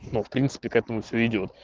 ну в принципе к этому все идёт